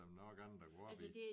Der er nok andet at gå op i